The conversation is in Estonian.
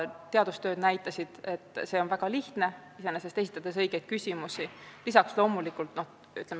Teadustööd näitasid, et õigeid küsimusi esitades on see väga lihtne.